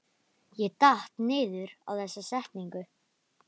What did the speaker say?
Ég datt niður á þessa setningu.